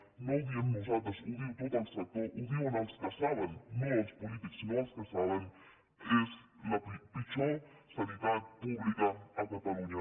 no ho diem nosaltres ho diu tot el sector ho diuen els que en saben no els polítics sinó els que en saben és la pitjor sanitat pública a catalunya